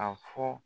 A fɔ